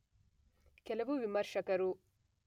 ಕೆಲವು ವಿಮರ್ಶಕರು